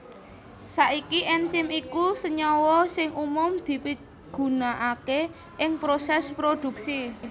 Saiki enzim iku senyawa sing umum dipigunaaké ing prosès prodhuksi